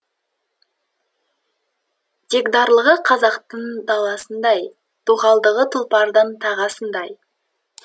дегдарлығы қазақтың даласындай доғалдығы тұлпардың тағасындай